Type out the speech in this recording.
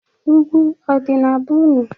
Ụgwụ ọdị na be unu?